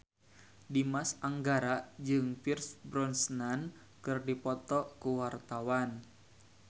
Dimas Anggara jeung Pierce Brosnan keur dipoto ku wartawan